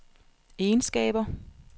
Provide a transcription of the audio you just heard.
egenskaber